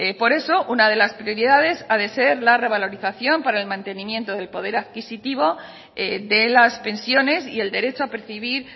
por eso una de las prioridades ha de ser la revalorización para el mantenimiento del poder adquisitivo de las pensiones y el derecho a percibir